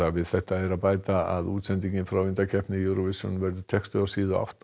við þetta er að bæta að útsendingin frá undankeppni Eurovision verður textuð á síðu átta